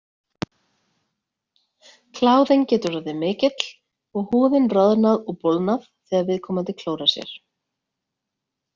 Kláðinn getur orðið mikill og húðin roðnað og bólgnað þegar viðkomandi klórar sér.